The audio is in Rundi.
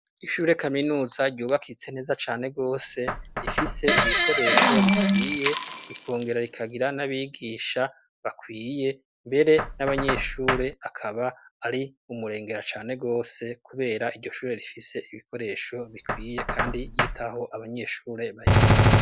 Ishure kaminuza ryubakitse neza cane gose rifise ibikoresho bikwiye rikongera rikagira n'abigisha bakwiye mbere n'abanyeshuri akaba ari umurengera cane gose kubera iryo shure rifise ibikoresho bikwiye kandi ryitaho abanyeshure bahiga.